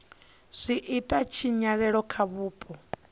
zwi ita tshinyalelo kha vhupo